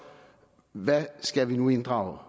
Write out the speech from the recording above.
hvad skal vi nu inddrage